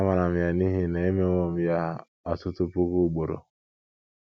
Amaara m ya n’ihi na emewo m ya ọtụtụ puku ugboro. ”